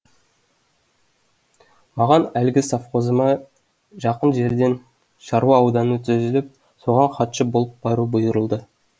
маған әлгі совхозыма жақын жерден шаруа ауданы түзіліп соған хатшы болып бару бұйырылды